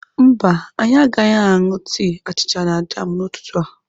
Mba anyị agaghị aṅụ tii, achịcha na jam n'ụtụtụ a.